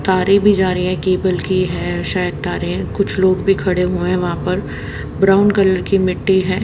तारे भी जा रही है केबल की है शायद तारे कुछ लोग भी खड़े हुए हैं वहां पर ब्राउन कलर की मिट्टी है।